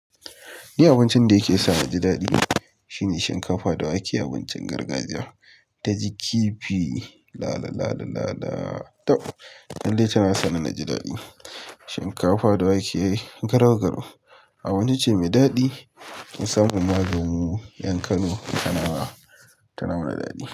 Ni abincin da yake sa naji daɗi shine shinkafa da wake. Abincin gargajiya ta ji kifi lala lala lala tab. Lalle tana sa ni naji daɗi shinkafa da wake garau-garau abinci ce mai daɗi. Ki samu maganin ƴan kano tana ba tana mana daɗi.